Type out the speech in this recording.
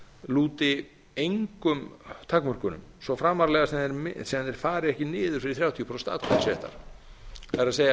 lúti engum takmörkunum svo framarlega sem þeir fara ekki niður fyrir þrjátíu prósent atkvæðisréttar það